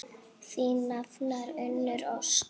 Þín nafna, Unnur Ósk.